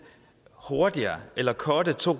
hurtigere eller cutte to